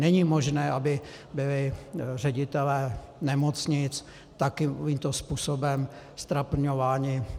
Není možné, aby byli ředitelé nemocnic takovýmto způsobem ztrapňováni.